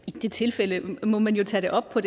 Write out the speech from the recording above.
det tilfælde må man jo tage det op